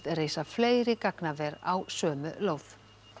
reisa fleiri gagnaver á sömu lóð